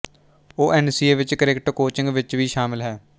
ਉਹ ਐਨਸੀਏ ਵਿੱਚ cricket coaching ਵਿੱਚ ਵੀ ਸ਼ਾਮਲ ਹੈ